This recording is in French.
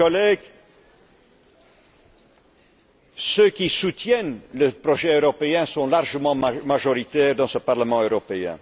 Chers collègues, ceux qui soutiennent le projet européen sont largement majoritaires dans ce Parlement européen.